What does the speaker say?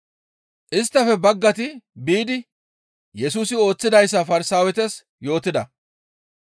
Isttafe baggayti biidi Yesusi ooththidayssa Farsaawetas yootida.